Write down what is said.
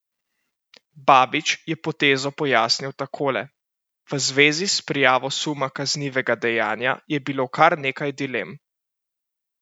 Babič je potezo pojasnil takole: "V zvezi s prijavo suma kaznivega dejanja je bilo kar nekaj dilem.